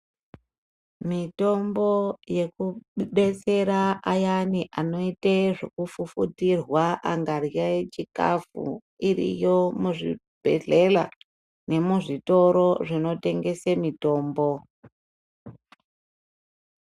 Mitombo yekudetsera ayani anoite zvekufufutirwa angahye chikafu iriyo muzvibhehlela nemuzvitoro zvinotengese mitombo.